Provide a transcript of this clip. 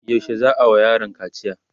yaushe za'a wa yaron kaciya?